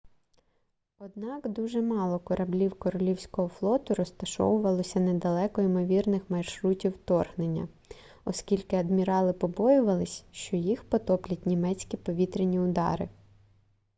однак дуже мало кораблів королівського флоту розташовувалося недалеко імовірних маршрутів вторгнення оскільки адмірали побоювалися що їх потоплять німецькі повітряні удари